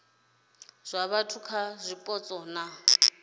zwa vhathu kha zwipotso na